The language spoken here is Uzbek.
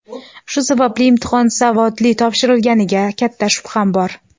Shu sababli imtihon savodli topshirilganiga katta shubham bor.